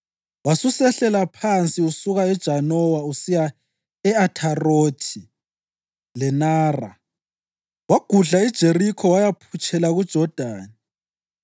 Wasusehlela phansi usuka eJanowa usiya e-Atharothi leNara, wagudla iJerikho wayaphutshela kuJodani.